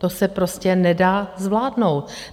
To se prostě nedá zvládnout.